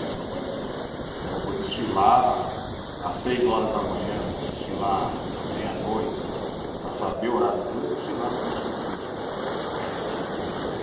Eu vou desfilar às seis horas da manhã, vou desfilar à meia-noite, para saber o horário duro é desfilar no lusco-fusco.